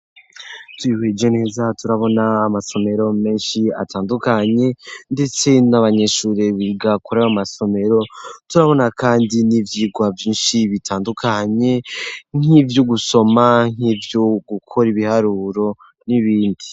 Twihweje neza turabona amasomero menshi atandukanye, ndetse n'abanyeshure biga kuri ayo masomero, turabona kandi n'ivyigwa vyinshi bitandukanye nk'ivyo gusoma nk'ivyo gukora ibiharuro, n'ibindi.